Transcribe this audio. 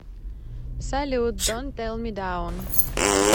салют донт лет ми даун